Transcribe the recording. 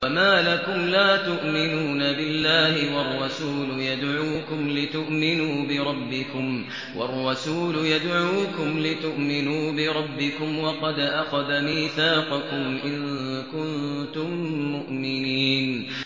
وَمَا لَكُمْ لَا تُؤْمِنُونَ بِاللَّهِ ۙ وَالرَّسُولُ يَدْعُوكُمْ لِتُؤْمِنُوا بِرَبِّكُمْ وَقَدْ أَخَذَ مِيثَاقَكُمْ إِن كُنتُم مُّؤْمِنِينَ